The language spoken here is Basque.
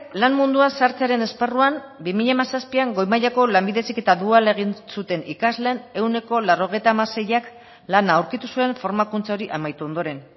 lan munduan sartzearen esparruan bi mila hamazazpian goi mailako lanbide heziketa duala egin zuten ikasleen ehuneko laurogeita hamaseiak lana aurkitu zuen formakuntza hori amaitu ondoren